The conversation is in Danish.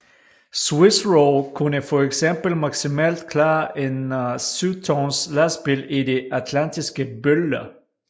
Swiss Roll kunne for eksempel maksimalt klare en 7 tons lastbil i de atlantiske bølger